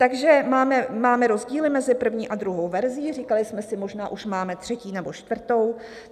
Takže máme rozdíly mezi první a druhou verzí - říkali jsme si, možná už máme třetí nebo čtvrtou.